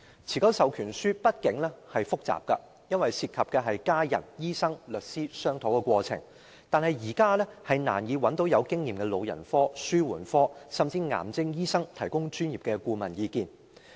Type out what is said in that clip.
持久授權書畢竟是複雜的，因為涉及家人、醫生和律師的商討過程，但現時我們難以找到具經驗的老人科、紓緩科，甚至癌症專科醫生提供專業意見。